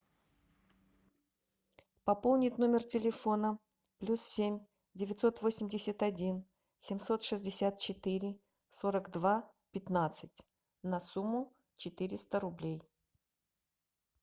пополнить номер телефона плюс семь девятьсот восемьдесят один семьсот шестьдесят четыре сорок два пятнадцать на сумму четыреста рублей